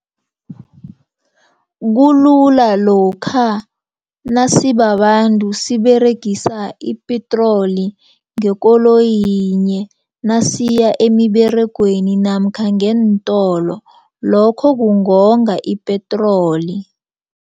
Kulula lokha nasibabantu siberegisa ipetroli ngekoloyi yinye. Nasiya emiberegweni namkha ngeentolo lokho kungonga ipetroli.